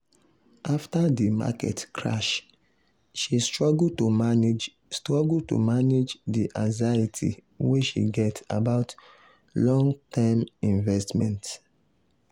"afta di market crash she struggle to manage struggle to manage di anxiety wey she get about long-term investments."